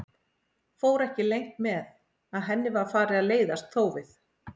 Fór ekki leynt með að henni var farið að leiðast þófið.